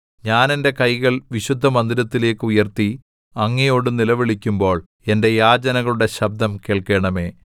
ഞാൻ എന്റെ കൈകൾ വിശുദ്ധമന്ദിരത്തിലേക്ക് ഉയർത്തി അങ്ങയോട് നിലവിളിക്കുമ്പോൾ എന്റെ യാചനകളുടെ ശബ്ദം കേൾക്കണമേ